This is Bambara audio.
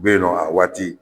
U bɛ yen nɔ a waati